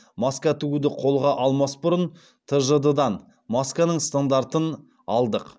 маска тігуді қолға алмас бұрын тжд дан масканың стандартын алдық